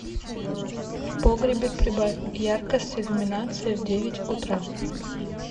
в погребе прибавь яркость иллюминации в девять утра